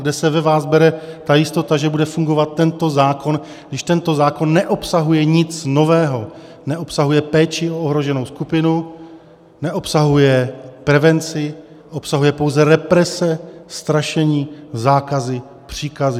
Kde se ve vás bere ta jistota, že bude fungovat tento zákon, když tento zákon neobsahuje nic nového, neobsahuje péči o ohroženou skupinu, neobsahuje prevenci, obsahuje pouze represe, strašení, zákazy, příkazy?